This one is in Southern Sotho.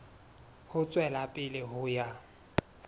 ho tswela pele ho ya